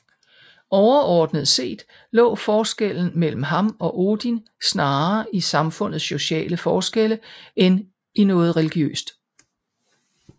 Overordnet set lå forskellen mellem ham og Odin snarere i samfundets sociale forskelle end i noget religiøst